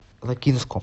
лакинском